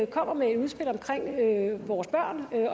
kommer med et udspil omkring vores børn